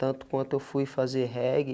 Tanto quanto eu fui fazer reggae,